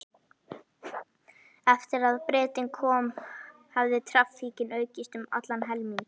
Eftir að Bretinn kom hafði traffíkin aukist um allan helming.